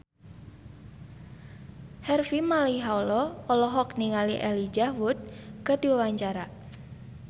Harvey Malaiholo olohok ningali Elijah Wood keur diwawancara